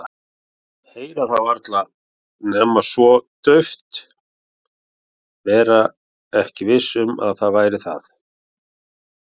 Heyra það varla nema svo dauft, vera ekki viss um að það væri það.